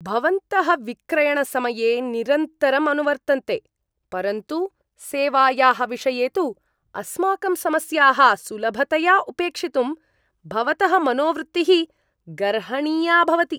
भवन्तः विक्रयणसमये निरन्तरम् अनुवर्तन्ते, परन्तु सेवायाः विषये तु अस्माकं समस्याः सुलभतया उपेक्षितुं भवतः मनोवृत्तिः गर्हणीया भवति।